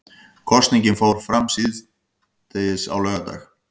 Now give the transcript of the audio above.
Kosningin fór fram síðastliðinn laugardag